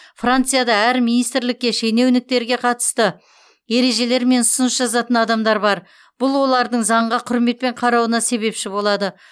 францияда әр министрлікте шенеуніктерге қатысты ережелер мен ұсыныс жазатын адамдар бар бұл олардың заңға құрметпен қарауына себепші болады